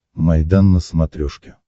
майдан на смотрешке